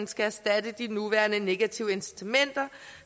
skal erstatte de nuværende negative incitamenter